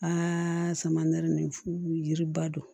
Aa sama nɛri fu yiriba don